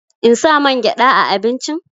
In sa mangyaɗa a abincin?